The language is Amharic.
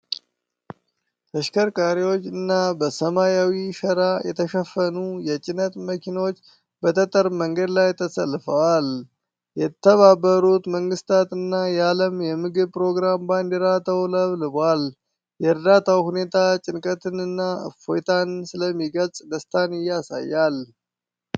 ተሽከርካሪዎችና በሰማያዊ ሸራ የተሸፈኑ የጭነት መኪኖች በጠጠር መንገድ ላይ ተሰልፈዋል። የተባበሩት መንግስታት እና የዓለም የምግብ ፕሮግራም ባንዲራ ተውለብልቧል። የእርዳታው ሁኔታ ጭንቀትን እና እፎይታን ስለሚገልፅ ደስታን ያሳያል።